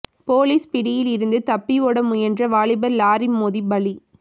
police பிடியில் இருந்து தப்பி ஓட முயன்ற வாலிபர் லாரி மோதி பலி